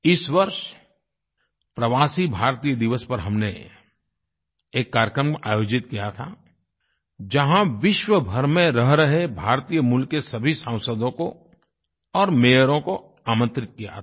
इस वर्ष प्रवासी भारतीय दिवस पर हमने एक कार्यक्रम आयोजित किया था जहाँ विश्व भर में रह रहे भारतीयमूल के सभी सांसदों को और मेयरों मेयर्स को आमंत्रित किया था